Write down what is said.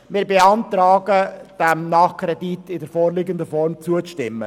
Wir beantragen, diesem Nachkredit in der vorliegenden Form zuzustimmen.